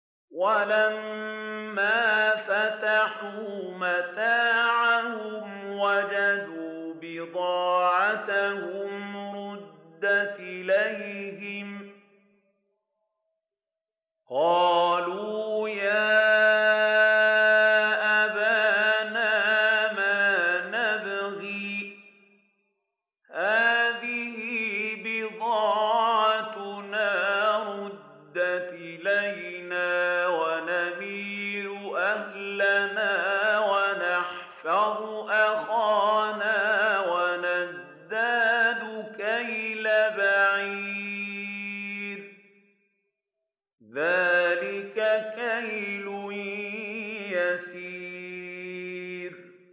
وَلَمَّا فَتَحُوا مَتَاعَهُمْ وَجَدُوا بِضَاعَتَهُمْ رُدَّتْ إِلَيْهِمْ ۖ قَالُوا يَا أَبَانَا مَا نَبْغِي ۖ هَٰذِهِ بِضَاعَتُنَا رُدَّتْ إِلَيْنَا ۖ وَنَمِيرُ أَهْلَنَا وَنَحْفَظُ أَخَانَا وَنَزْدَادُ كَيْلَ بَعِيرٍ ۖ ذَٰلِكَ كَيْلٌ يَسِيرٌ